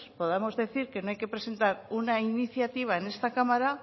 podamos decir que no hay que presentar una iniciativa en esta cámara